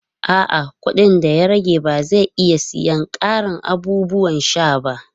A'a, kuɗin da ya rage ba zai iya siyan ƙarin abubuwan sha ba.